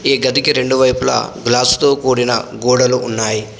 ఈ గదికి రెండు వైపులా గ్లాస్ తో కూడిన గోడలు ఉన్నాయి.